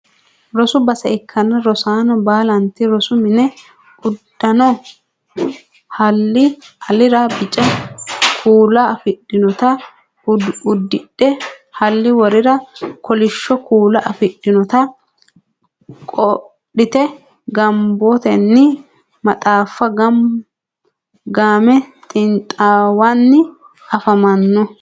Rosu base ikkanna rosaano baalanti rosu mini uddano haalli alira bica kuula afidhinota uddidhe Halli worira kolishsho kuula afidhinota qodhite gaamotenni maxaaffa game xiinxaawanni afamanno